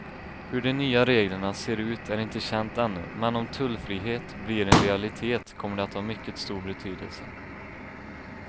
Hur de nya reglerna ser ut är inte känt ännu, men om tullfrihet blir en realitet kommer det att ha mycket stor betydelse.